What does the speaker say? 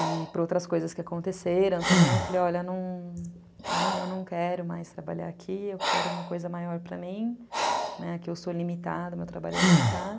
E por outras coisas que aconteceram também, eu falei, olha, eu não quero mais trabalhar aqui, eu quero uma coisa maior para mim, né, que eu sou limitada, meu trabalho é limitado.